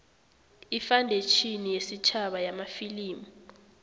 ifandetjhini yesitjhaba yamafilimu